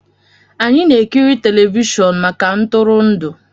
Anyị na-ekiri telivishọn maka ntụrụndụ